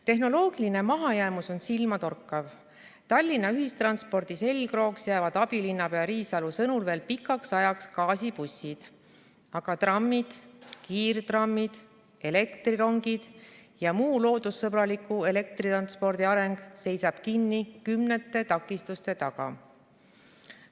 Tehnoloogiline mahajäämus on silmatorkav, Tallinna ühistranspordi selgrooks jäävad abilinnapea Riisalu sõnul veel pikaks ajaks gaasibussid, aga trammid, kiirtrammid, elektrirongid ja muu loodussõbraliku elektritranspordi areng seisab kinni kümnete takistuste taga.